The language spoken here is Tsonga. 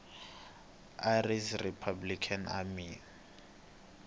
irish republican army